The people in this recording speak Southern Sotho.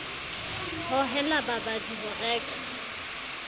ho hohela babadi ho reka